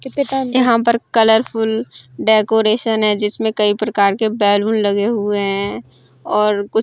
यहाँ पर colourful decoration है जिसमें कई प्रकार के बैलून लगे हुए हैं और कुछ --